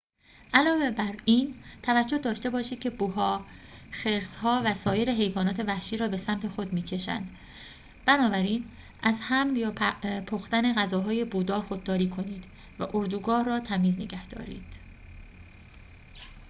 علاوه بر این توجه داشته باشید که بوها خرس‌ها و سایر حیوانات وحشی را به سمت خود می‌کشند بنابراین از حمل یا پختن غذاهای بودار خودداری کنید و اردوگاه را تمیز نگهدارید